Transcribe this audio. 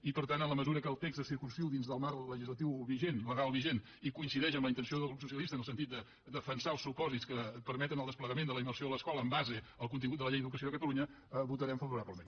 i per tant en la mesura que el text se circumscriu dins del marc legislatiu legal vigent i coincideix amb la intenció del grup socialista en el sentit de defensar els supòsits que permeten el desplegament de la immersió a l’escola en base al contingut de la llei d’educació de catalunya votarem favorablement